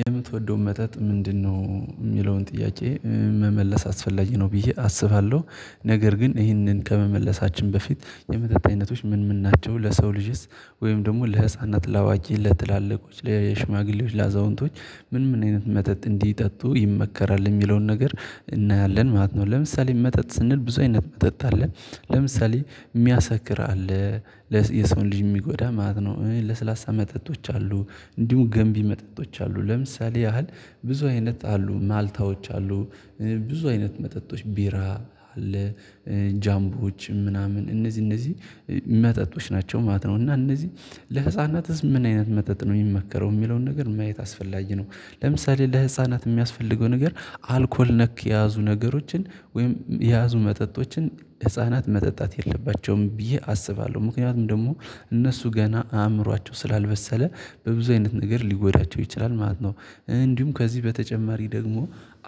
የምትወደውን መጠጥ ምንድነው የሚለውን ጥያቄ መመለስ አስፈላጊ ነው ብዬ አስባለሁ ነገር ግን ይህንን ከመመለሳችን በፊት የመጠጥ አይነቶች ምን ምን ናቸው ለሰው ልጅስ ወይም ደግሞ ለህፃና ለአዋቂ ለትላልቆች ለሽማግሌዎች ለአዛውንቶች ምን ምን አይነት መጠጥ እንዲጠጡ ይመከራል የሚለውን ነገር እናያለን ማለት ነው። ለምሳሌ መጠጥ ስንል ብዙ አይነት መጠጥ አለ ለምሳሌ የሚያሰክር አለ ለስ የሰውን ልጅ የሚጎዳ ማለት ነው። ለስላሳ መጠጦች አሉ እንዲሁ ገንቢ መጠጦች አሉ ለምሳሌ ያህል ብዙ አይነት አሉ ማልታዎች አሉ። ብዙ አይነት መጠጦች ቢራ አለ ጃምቦዎችም ምናምን እነዚህ እነዚህ መጠጦች ናቸው ማለት ነው። እና እነዚህ ለህፃናትስ ምን አይነት መጠጥ ነው የሚመከረው የሚለውን ነገር ማየት አስፈላጊ ነው። ለምሳሌ ለህፃናት የሚያስፈልገው ነገር አልኮል ነክ የያዙ ነገሮችን ወይም የያዙ መጠጦችን ህፃናት መጠጣት የለባቸውም ብዬ አስባለሁ ምክንያቱም ደግሞ እነሱ ገና አእምሯቸው ስላልበሰለ በብዙ አይነት ነገር ሊጎዳቸው ይችላል ማለት ነው። እንዲሁም ከዚህ በተጨማሪ ደግሞ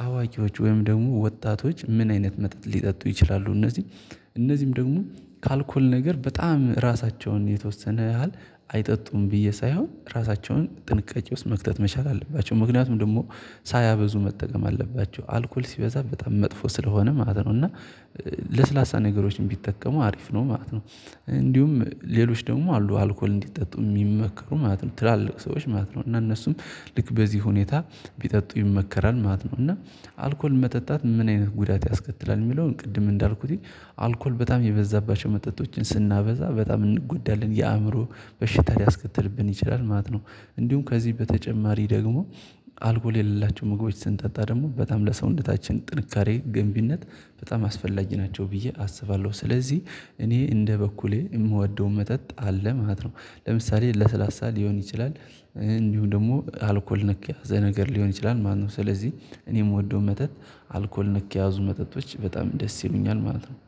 አዋቂዎች ወይም ደግሞ ወጣቶች ምን አይነት መጠጥ ሊጠጡ ይችላሉ። እነዚህ እነዚህም ደግሞ ከአልኮል ነገር በጣም ራሳቸውን የተወሰነ ያህል አይጠጡም ብዬ ሳይሆን ራሳቸውን ጥንቃቄ ውስጥ መክተት መቻል አለባቸው ምክንያቱም ደግሞ ሳያበዙ መጠቀም አለባቸው አልኮል ሲበዛ በጣም መጥፎ ስለሆነ ማለት ነው። እና ለስላሳ ነገሮችም ቢጠቀሙ አሪፍ ነው ማለት ነው። እንዲሁም ሌሎች ደግሞ አሉ አልኮል እንዲጠጡ የሚመከሩ ማለት ነው ትላልቅ ሰዎች ማለት ነው። እና እነሱም ልክ በዚህ ሁኔታ ቢጠጡ ይመከራል ማለት ነው። እና አልኮል መጠጣት ምን አይነት ጉዳት ያስከትላል የሚለውን ቅድም እንዳልኩት አልኮል በጣም የበዛባቸው መጠጦችን ስናበዛ በጣም እንጎዳለን የአእምሮ በሽታ ሊያስከትልብን ይችላል ማለት ነው። እንዲሁም ከዚህ በተጨማሪ ደግሞ አልኮል የሌላቸው ምግቦች ስንጠጣ ደግሞ በጣም ለሰውነታችን ጥንካሬ ገንቢነት በጣም አስፈላጊ ናቸው ብዬ አስባለሁ። ስለዚህ እኔ እንደ በኩሌ የምወደውን መጠጥ አለ ማለት ነው። ለምሳሌ ለሰላሳ ሊሆን ይችላል እንዲሁ ደግሞ አልኮል ነክ የሆነ ነገር ሊሆን ይችላል ማለት ነው። ስለዚህ እኔ የምወደው መጠጥ አልኮል ነክ የያዙ መጠጦች በጣም ደስ ይሉኛል ማለት ነው